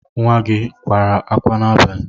Nwa gị kwara akwa n'abalị?